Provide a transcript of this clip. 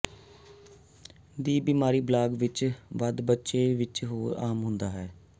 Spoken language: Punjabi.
ਦੀ ਬਿਮਾਰੀ ਬਾਲਗ ਵਿੱਚ ਵੱਧ ਬੱਚੇ ਵਿੱਚ ਹੋਰ ਆਮ ਹੁੰਦਾ ਹੈ